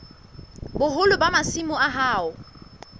boholo ba masimo a hao